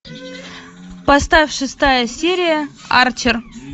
поставь шестая серия арчер